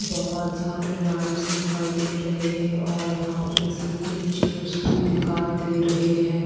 बहोत सारे लाइट्स दिखाई दे रहे हैं और यहाँ पे सिटिंग चेयर्स भी दिखाई दे रहे हैं।